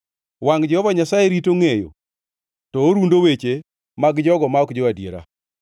Wangʼ Jehova Nyasaye rito ngʼeyo; to orundo weche mag jogo ma ok jo-adiera.